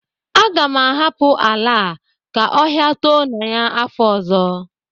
Aga m ahapụ ala a ka ọhia too na ya n'afọ ọzọ